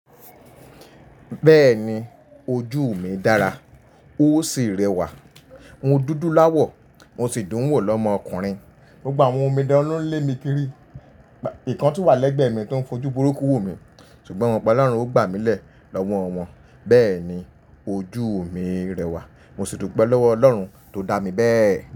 Bẹ́ẹ̀ni ojú mi dára ó sì rẹwà. N o dúdú láwọ̀ mo sì dùn wo lọmọ ọkùnrin. Gbogbo awọn omidán lo n lé mi kiri, ìkan tún wà lẹ́gbẹ̀ẹ́ mi tó ń fojú burúkú wo mi, ṣùgbọ́n momọ̀ pọ̀lọ́run ó gbà mí lé lọ́wọ́ wọn. Bẹ́ẹ̀ni ojú mi rẹwà, mo sì dúpẹ́ lọ́wọ́ Ọlọ́run tó dá mi bẹ́ẹ̀.